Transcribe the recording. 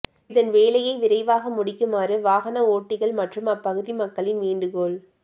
இதன் வேலையை விரைவாக முடிக்குமாறு வாகன ஓட்டிகள் மற்றும் அப்பகுதி மக்களின் வேண்டுகோள்